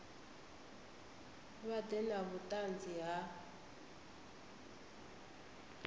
vha ḓe na vhuṱanzi ha